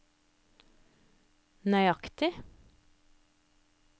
nøyaktig